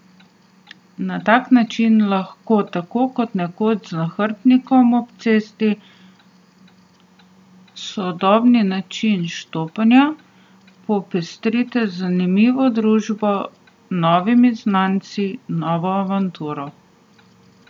Na tak način lahko, tako kot nekoč z nahrbtnikom ob cesti, sodobni način štopanja popestrite z zanimivo družbo, novimi znanci, novo avanturo.